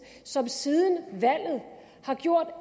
som siden valget har gjort